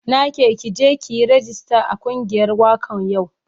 Na ke ki je ki yi ragista a kungiyar wakan yau.